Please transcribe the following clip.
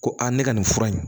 Ko a ne ka nin fura in